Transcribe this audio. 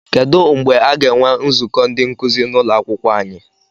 Kedụ mgbe aga enwe nzukọ ndị nkuzi n'ụlọakwụkwọ anyị?